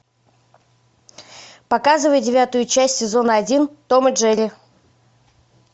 показывай девятую часть сезона один том и джерри